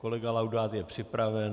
Kolega Laudát je připraven.